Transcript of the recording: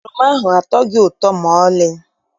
Oroma ahụ atọghị ụtọ maọlị.